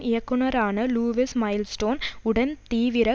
இயக்குனரான Lewis Milestone உடன் தீவிர